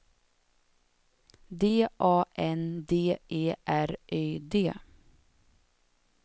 D A N D E R Y D